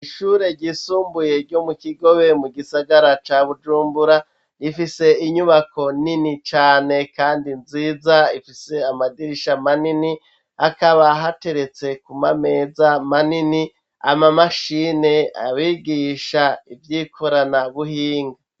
Ishure ryisumbuye, ryo mu Kigobe, mu gisagara ca Bujumbura; rifise inyubako nini cane kandi nziza, ifise amadirisha manini, akaba hateretse ku mameza manini, ama mashine abigisha ivy'ikoranabuhinga.